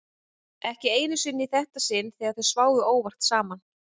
En þegar hún hvar var eins og það rjátlaði af Penélope.